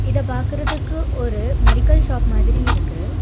இத பாக்குறதுக்கு ஒரு மெடிக்கல் ஷாப் மாதிரி இருக்கு.